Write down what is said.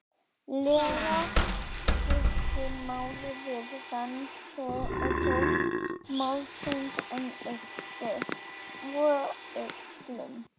lega skipt máli við rannsókn málsins en yppti svo öxlum.